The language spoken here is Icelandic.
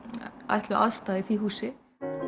ætluð aðstaða í því húsi